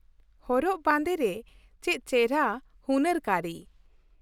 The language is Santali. ᱦᱚᱨᱚᱜ ᱵᱟᱸᱫᱮ ᱨᱮ ᱪᱮᱫ ᱪᱮᱦᱨᱟ ᱦᱩᱱᱟᱹᱨ ᱠᱟᱹᱨᱤ ᱾